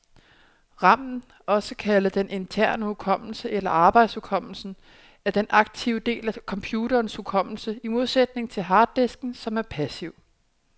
Ramen, også kaldet den interne hukommelse eller arbejdshukommelsen, er den aktive del af computerens hukommelse, i modsætning til harddisken, som er passiv.